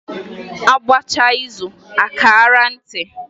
A gbachaa izu a kaara ntị.